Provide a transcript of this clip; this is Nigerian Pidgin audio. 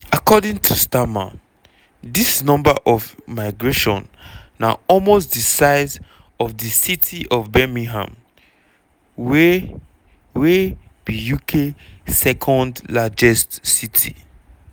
according to starmer dis number of migration na almost di size of di city of birmingham wey wey be uk second largest city.